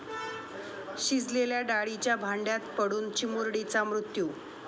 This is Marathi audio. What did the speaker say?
शिजलेल्या डाळीच्या भांड्यात पडून चिमुरडीचा मृत्यू